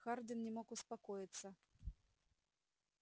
хардин не мог успокоиться